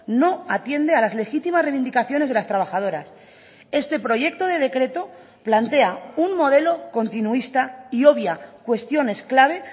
no atiende a las legítimas reivindicaciones de las trabajadoras este proyecto de decreto plantea un modelo continuista y obvia cuestiones clave